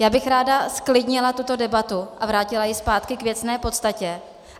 Já bych ráda zklidnila tuto debatu a vrátila ji zpátky k věcné podstatě.